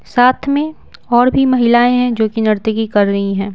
साथ में और भी महिलाएं हैं जो कि नर्तिकी कर रही हैं।